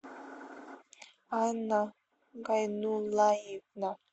анна гайнулаевна